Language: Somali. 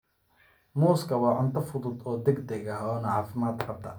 Muuska waa cunto fudud oo degdeg ah oo caafimaad qabta.